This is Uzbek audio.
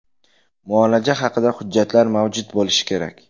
Muolaja haqida hujjatlar mavjud bo‘lishi kerak.